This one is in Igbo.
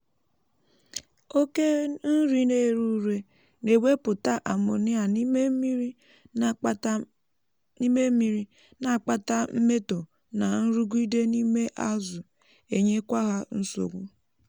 oke nri na-èré ùré na-ewepụta ammonia n'ime mmiri na-akpata mmetọ na nrụgide n’ime azụ um enyekwa ha nsogbu